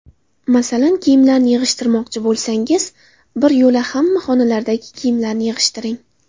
Masalan, kiyimlarni yig‘ishtirmoqchi bo‘lsangiz, biryo‘la hamma xonalardagi kiyimlarni yig‘ishtiring.